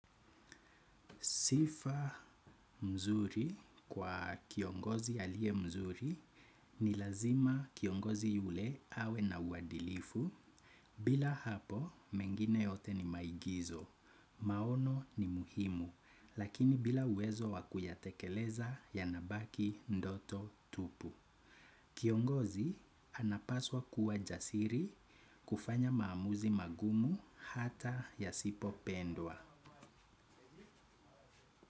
Sifa mzuri kwa kiongozi aliye mzuri ni lazima kiongozi yule awe na uwadilifu bila hapo mengine yote ni maigizo. Maono ni muhimu lakini bila uwezo wa kuyatekeleza yanabaki ndoto tupu. Kiongozi anapaswa kuwa jasiri kufanya maamuzi magumu hata ya sipo pendwa.